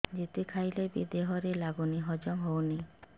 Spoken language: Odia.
ଯେତେ ଖାଇଲେ ବି ଦେହରେ ଲାଗୁନି ହଜମ ହଉନି